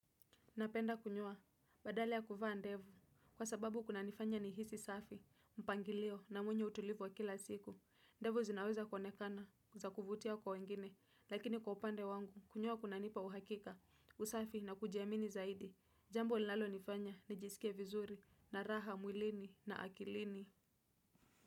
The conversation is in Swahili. Napenda kunyoa, badala ya kuvaa ndevu, kwa sababu kuna nifanya nihisi safi, mpangilio na mwenye utulivu wa kila siku. Ndevu zinaweza konekana, za kuvutia kwa wengine, lakini kwa upande wangu, kunyoa kuna nipa uhakika, usafi na kujiamini zaidi. Jambo linalo nifanya nijisikie vizuri na raha mwilini na akilini.